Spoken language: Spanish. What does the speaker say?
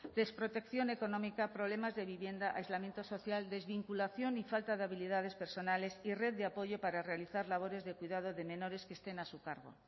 desprotección económica problemas de vivienda aislamiento social desvinculación y falta de habilidades personales y red de apoyo para realizar labores de cuidado de menores que estén a su cargo